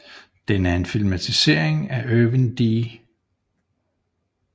Den er en filmatisering af Irvin D